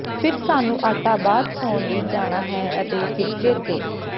ਫਿਰ ਸਾਨੂੰ ਆਟਾ ਬਾਅਦ ਸੌਣ ਲਈ ਜਾਣਾ ਹੈ ਅਤੇ ਫਿਰ ਚੇਤੇ